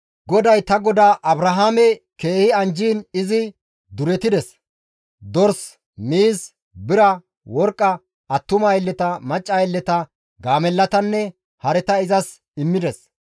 GODAY ta godaa Abrahaame keehi anjjiin izi duretides; dors, miiz, bira, worqqa, attuma aylleta, macca aylleta, gaamellatanne, hareta izas immides.